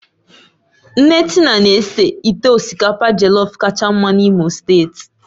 Nne Tina na-ese ite osikapa jellof kacha mma n'Imo steeti